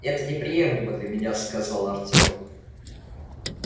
это неприемлемо для меня сказал артём